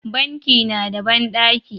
Banki na da banɗaki